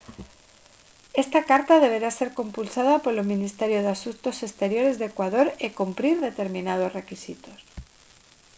esta carta deberá ser compulsada polo ministerio de asuntos exteriores de ecuador e cumprir determinados requisitos